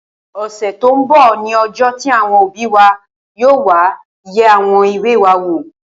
Ọ̀sẹ̀ tó n bọ̀ ní ọjọ́ tí àwọn òbí wa yóò wá yẹ àwọn ìwé wa wò